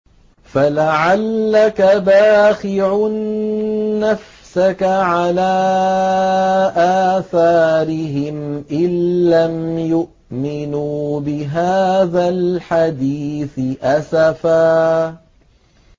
فَلَعَلَّكَ بَاخِعٌ نَّفْسَكَ عَلَىٰ آثَارِهِمْ إِن لَّمْ يُؤْمِنُوا بِهَٰذَا الْحَدِيثِ أَسَفًا